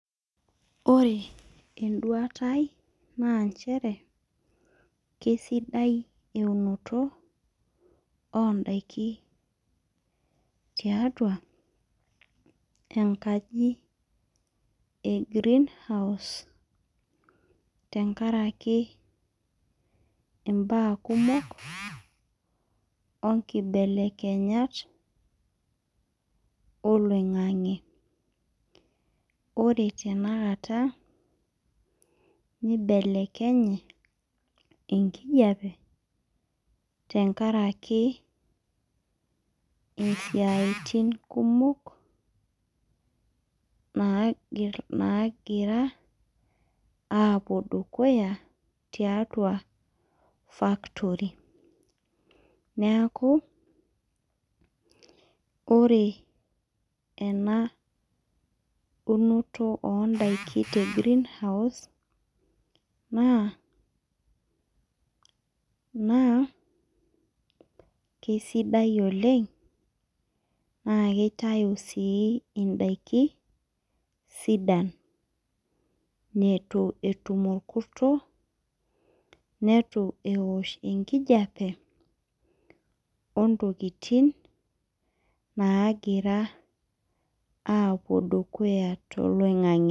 Ore enduatai naa inchere naa kesidai eunoto oondaki tiatua enkaji naji green house tengaraki imbaa kumok onkibelekenyat oloing'ang'e. Ore tenakata etii enkijape tengaraki esiatini kumok naagira aapo dukuya tiatua factory naaku ore ena eunoto ondaki te green house naa ,naa keisidai ole, naa keitayu sii indaki sidan netu etum orkurto neitu eosh enkijepe ontikitin naagira aapuo dukuya te eloing'ang'e.